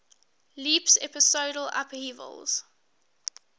leaps episodal upheavals